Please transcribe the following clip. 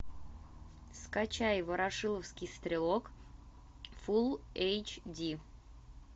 скачай ворошиловский стрелок фул эйч ди